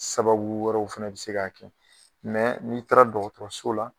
Sababu wɛrɛw fana bɛ se k'a kɛ n'i taara dɔgɔtɔrɔso la